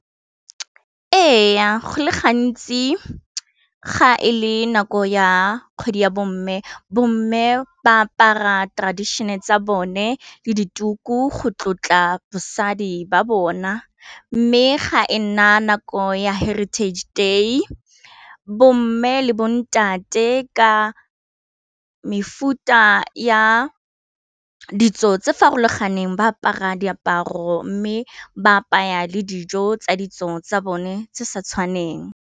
E ya go le gantsi ga e le nako ya kgwedi ya bo mme bomme ba apara traditional tsa bone le dituku go tlotla bosadi ba bona, mme ga e nna nako ya heritage day bo mme le bontate ka mefuta ya ditso tse farologaneng ba apara diaparo mme ba apaya le dijo tsa ditso tsa bone se sa tshwaneng.